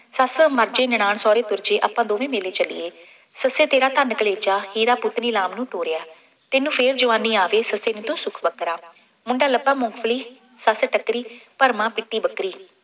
ਸੱਸ ਮਰ ਜੇ, ਨਨਾਣ ਸਹੁਰੇ ਤੁਰ ਜੇ, ਆਪਾਂ ਦੋਵੇਂ ਮੇਲੇ ਚੱਲੀਏ, ਸੱਸੇ ਤੇਰਾ ਧਨ ਕਲੇਜਾ, ਹੀਰਾ ਪੁੱਤ ਨੀ ਲਾਮ ਨੂੰ ਤੋਰਿਆ, ਤੈਨੂੰ ਫੇਰ ਜਵਾਨੀ ਆਵੇ ਸੱਸੇ ਨਹੀਂ ਤਾਂ ਸੁੱਖ ਵੱਖਰਾ, ਮੁੰਡਾ ਲੱਭਾ ਮੂੰਗਫਲੀ, ਸੱਸ ਟੱਕਰੀ ਭਰਮਾ ਪਿੱਟੀ ਬੱਕਰੀ।